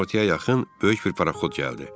Günortaya yaxın böyük bir paraxod gəldi.